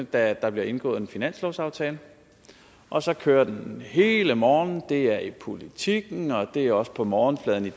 da der bliver indgået en finanslovsaftale og så kører den hele morgenen det er i politiken og det er også på morgenfladen i